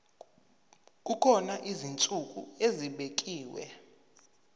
kukhona izinsuku ezibekiwe